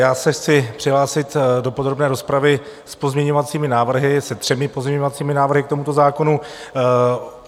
Já se chci přihlásit do podrobné rozpravy s pozměňovacími návrhy, se třemi pozměňovacími návrhy k tomuto zákonu.